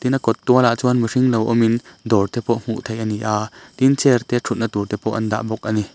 na kawt tuala chuan mihring lo awm in dawr te pawh hmuh thei a ni a tin chair te thutna tur te pawh an dah bawk a ni.